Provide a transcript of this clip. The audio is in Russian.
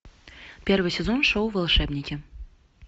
первый сезон шоу волшебники